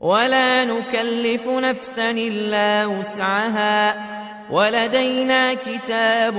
وَلَا نُكَلِّفُ نَفْسًا إِلَّا وُسْعَهَا ۖ وَلَدَيْنَا كِتَابٌ